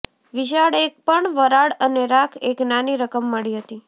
વિશાળ એક પણ વરાળ અને રાખ એક નાની રકમ મળી હતી